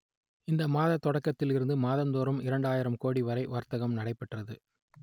இந்த ஆண்டு தொடக்கத்தில் இருந்து மாதம் தோறும் இரண்டு ஆயிரம் கோடி வரை வர்த்தகம் நடைபெற்றது